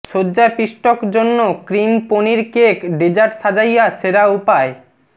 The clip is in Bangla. সজ্জা পিষ্টক জন্য ক্রিম পনির কেক ডেজার্ট সাজাইয়া সেরা উপায়